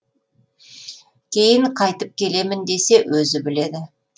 кейін қайтып келемін десе өзі біледі